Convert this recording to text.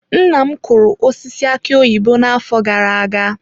Nna m kụrụ osisi aki oyibo n'afọ gara aga.